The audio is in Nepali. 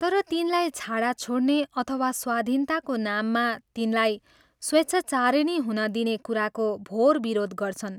तर तिनलाई छाड़ा छोड्ने अथवा स्वाधीनताको नाममा तिनलाई स्वेच्छाचारिणी हुन दिने कुराको भोर विरोध गर्छन्।